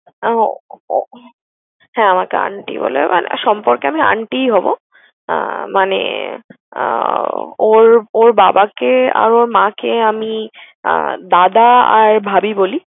আহ হ্যাঁ আমাকে aunty বলে। মানে সম্পর্কে আমি aunty ই হব। আহ মানে আহ ওর ওর বাবাকে আর ওর মাকে আমি আহ দাদা আর ভাবি বলি।